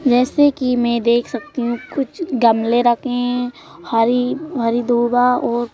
जैसे कि मैं देख सकती हूं कुछ गमले रखे हैं हरी हरी धोगा और--